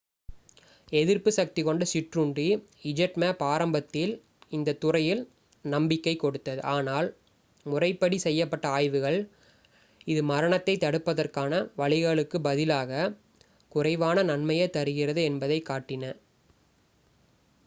எதிர்ப்புசக்திக் கொண்ட சிற்றுண்டி zmapp ஆரம்பத்தில் இந்தத் துறையில் நம்பிக்கைக் கொடுத்தது ஆனால் முறைப்படி செய்யப்பட்ட ஆய்வுகள் இது மரணத்தை தடுப்பதற்கான வழிகளுக்குப் பதிலாக குறைவான நன்மையே தருகிறது என்பதைக் காட்டின